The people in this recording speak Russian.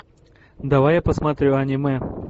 давай я посмотрю аниме